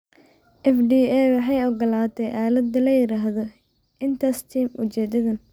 FDA waxay ogolaatay aalad la yiraahdo InterStim ujeedadan.